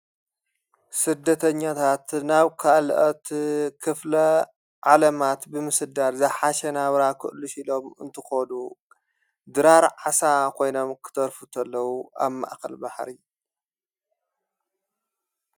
ስደተኛታት ናብ ክኣልአት ኽፍለ ዓለማት ብምስዳር ዘሓሸናብራ ኽእልሽ ኢሎም እንትኾዱ ድራር ዓሳ ኾይኖም ክተርፉ እንተለዉ ኣብ ማእኸል ባሕሪ።